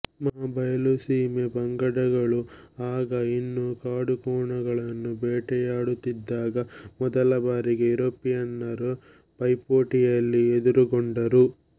ಮಹಾ ಬಯಲುಸೀಮೆ ಪಂಗಡಗಳು ಆಗ ಇನ್ನೂ ಕಾಡುಕೋಣಗಳನ್ನು ಬೇಟೆಯಾಡುತ್ತಿದ್ದಾಗ ಮೊದಲ ಬಾರಿಗೆ ಯುರೋಪಿಯನ್ನರನ್ನು ಪೈಪೋಟಿಯಲ್ಲಿ ಎದುರುಗೊಂಡರು